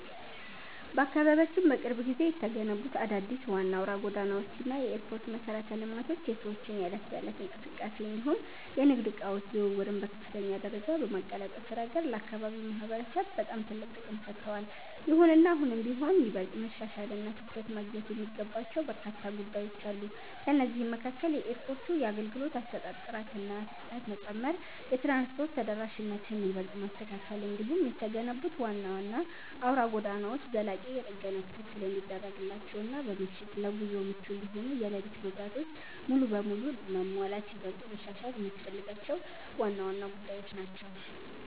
በአካባቢያችን በቅርብ ጊዜ የተገነቡት አዳዲስ ዋና አውራ ጎዳናዎች እና የኤርፖርት መሠረተ ልማቶች የሰዎችን የዕለት ተዕለት እንቅስቃሴ እንዲሁም የንግድ ዕቃዎች ዝውውርን በከፍተኛ ደረጃ በማቀላጠፍ ረገድ ለአካባቢው ማህበረሰብ በጣም ትልቅ ጥቅም ሰጥተዋል። ይሁንና አሁንም ቢሆን ይበልጥ መሻሻልና ትኩረት ማግኘት የሚገባቸው በርካታ ጉዳዮች አሉ። ከእነዚህም መካከል የኤርፖርቱ የአገልግሎት አሰጣጥ ጥራትና ፍጥነት መጨመር፣ የትራንስፖርት ተደራሽነትን ይበልጥ ማስተካከል፣ እንዲሁም የተገነቡት ዋና ዋና አውራ ጎዳናዎች ዘላቂ የጥገና ክትትል እንዲደረግላቸውና በምሽት ለጉዞ ምቹ እንዲሆኑ የሌሊት መብራቶች ሙሉ በሙሉ መሟላት ይበልጥ መሻሻል የሚያስፈልጋቸው ዋና ዋና ጉዳዮች ናቸው።